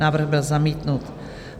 Návrh byl zamítnut.